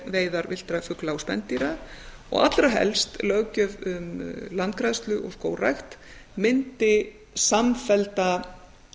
veiðar villtra fugla og spendýra og allra helst löggjöf um landgræðslu og skógrækt myndi samfellda